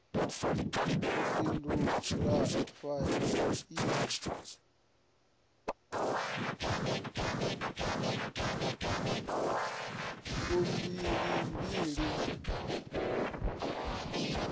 fumbilimbili hu si na faini